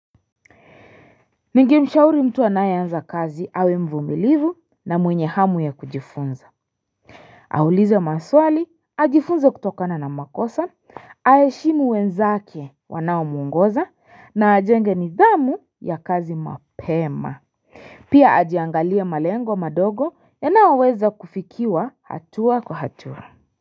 Ninge mshauri mtu anayeanza kazi awe mvumilivu na mwenye hamu ya kujifunza Aulize maswali ajifunze kutokana na makosa aheshimu wenzake wanao muongoza na ajenge nidhamu ya kazi mapema Pia ajiangalie malengo madogo yanayo weza kufikiwa hatua kwa hatua.